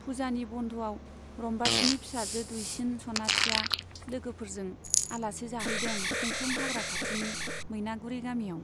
पुजानि बन्ध'आव रम्बासीनि फिसाजो दुइसिन सनाथिया लोगोफोर जों आलासि जाहैदों खुख्लुं हाग्रा खाथिनि मैनागुरी गामियाव।